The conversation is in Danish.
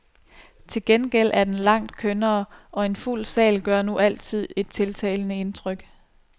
Til gengæld er den langt kønnere, og en fuld sal gør nu altid et tiltalende indtryk.